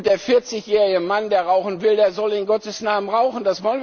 Der 40 jährige Mann, der rauchen will, der soll in Gottes Namen rauchen.